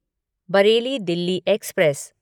Bareilly Delhi express